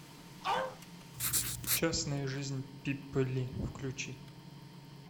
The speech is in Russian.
частная жизнь пиппы ли включи